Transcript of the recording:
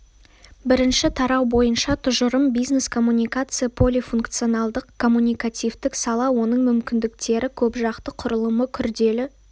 бірінші тарау бойынша тұжырым бизнес-коммуникация полифункционалдық коммуникативтік сала оның мүмкіндіктері көпжақты құрылымы күрделі